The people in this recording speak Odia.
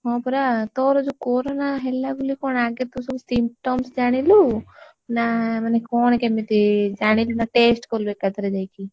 ହଁ ପରା ତୋର ଯୋଉ corona ହେଲା ବୋଲି କଣ ଆଗେ ତୁ ସବୁ symptoms ଜାଣିଲୁ? ନା ମାନେ କଣ କେମିତି? ଜାଣିଲୁ ନା test କଲୁ ଏକାଥରେ ଯାଇକି?